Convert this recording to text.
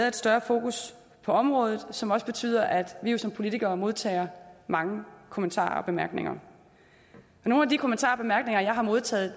et større fokus på området som jo også betyder at vi vi som politikere modtager mange kommentarer og bemærkninger nogle af de kommentarer og bemærkninger jeg har modtaget